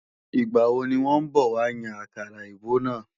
Ìgbàwo ní wọ́n bọ̀ wá yan àkàrà èbó náà?